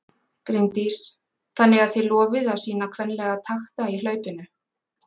Bryndís: Þannig að þið lofið að sýna kvenlega takta í hlaupinu?